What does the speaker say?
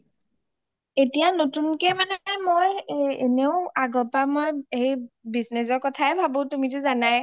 এতিয়া নতুন কে মানে মই , এনেৱো মই আগৰ পৰাই মই business ৰ কথায়ে ভাৱো মই তুমিটো জানাইয়ে